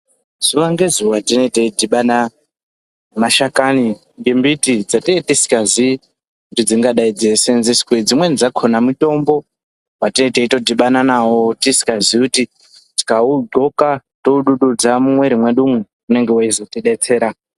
Zuwa ngezuwa tinee teidhibana nemashakani embiti dzatinee tikazii kuti dzingadai dzeiseenzeswei. Dzimweni dzakona mitombo watinee teitodhimana nawo tisikazii kuti tikaudxoka toodududza mumwiiri mwedu umwu, unenge weizotidetsera.